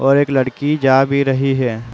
और एक लड़की जा भी रही है।